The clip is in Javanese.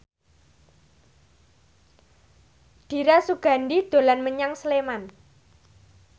Dira Sugandi dolan menyang Sleman